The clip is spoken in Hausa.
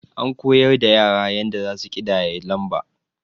An koyar da yara yanda zasu ƙidaya lamba.